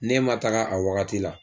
N'e ma taga a wagati la